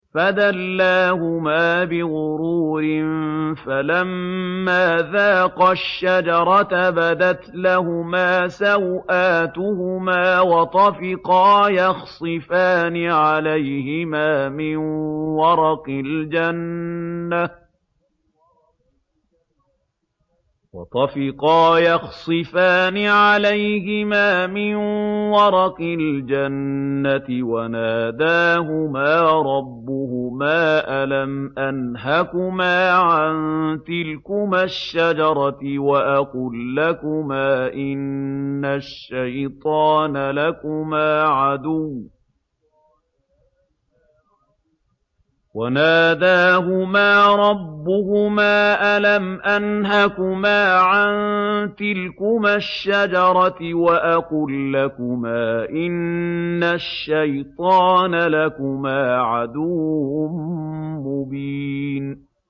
فَدَلَّاهُمَا بِغُرُورٍ ۚ فَلَمَّا ذَاقَا الشَّجَرَةَ بَدَتْ لَهُمَا سَوْآتُهُمَا وَطَفِقَا يَخْصِفَانِ عَلَيْهِمَا مِن وَرَقِ الْجَنَّةِ ۖ وَنَادَاهُمَا رَبُّهُمَا أَلَمْ أَنْهَكُمَا عَن تِلْكُمَا الشَّجَرَةِ وَأَقُل لَّكُمَا إِنَّ الشَّيْطَانَ لَكُمَا عَدُوٌّ مُّبِينٌ